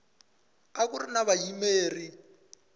a ku ri na vayimeri